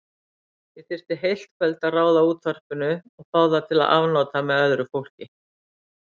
Ég þyrfti heilt kvöld að ráða útvarpinu og fá það til afnota með öðru fólki.